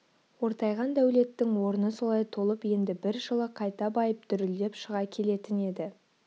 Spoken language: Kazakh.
ортайған дәулеттің орны солай толып енді бір жылы қайта байып дүрілдеп шыға келетін еді